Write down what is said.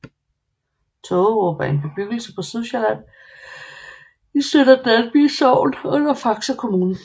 Tågerup er en bebyggelse på Sydsjælland i Sønder Dalby Sogn under Faxe Kommune